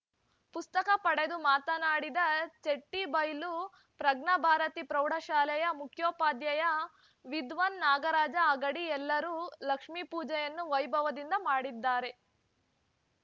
ಪುಸ್ತಕ ಪಡೆದು ಮಾತನಾಡಿದ ಚಿಟ್ಟೆಬೈಲು ಪ್ರಜ್ಞಾಭಾರತಿ ಪ್ರೌಢಶಾಲೆಯ ಮುಖ್ಯೋಪಾಧ್ಯಾಯ ವಿದ್ವಾನ್‌ ನಾಗರಾಜ ಅಗಡಿ ಎಲ್ಲರೂ ಲಕ್ಷ್ಮೀಪೂಜೆಯನ್ನು ವೈಭವದಿಂದ ಮಾಡಿದ್ದಾರೆ